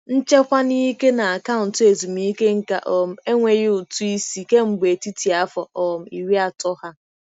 Nchekwa n'ike na akaụntụ ezumike nka um enweghị ụtụ isi kemgbe etiti afọ um iri atọ ha.